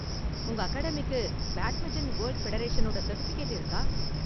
உங்க அகாடமிக்கு badminton world ஃபெடரேஷனோட சர்டிஃபிகேட் இருக்கா?